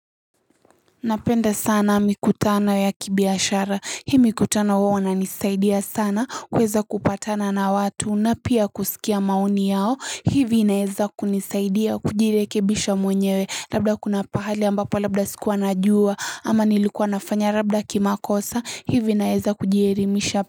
Napenda sana mikutano ya kibiashara hii mikutano huwa inanisaidia sana kuweza kupatana na watu na pia kusikia maoni yao hivi inaeza kunisaidia kujirekebisha mwenyewe labda kuna pahali ambapo labda sikuwa najua ama nilikuwa nafanya labda kimakosa, hivi inaeza kujierimisha.